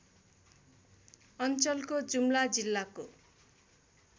अञ्चलको जुम्ला जिल्लाको